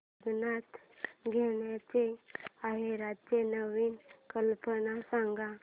लग्नात द्यायला आहेराच्या नवीन कल्पना सांग